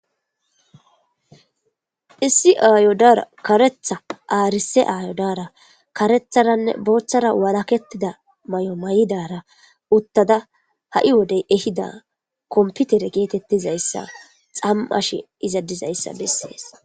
issi ayodara karetha aarise aayodara karetharanne booththara walakettida may7o may7idara uttada ha7i wodey ehida komputere geetettizayssa xam7ashe izadizayssa bessees